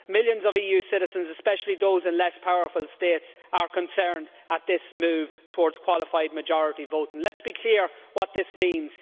Millions of EU citizens, especially those in less powerful states, are concerned at this move towards qualified majority voting. Let's be clear about what this means.